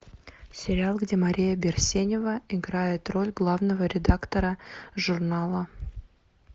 сериал где мария берсенева играет роль главного редактора журнала